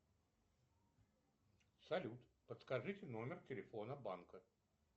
салют подскажите номер телефона банка